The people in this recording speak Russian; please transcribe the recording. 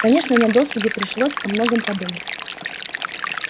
конечно на досуге приходилось о многом подумать